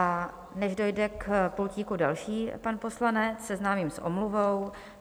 A než dojde k pultíku další pan poslanec, seznámím s omluvou.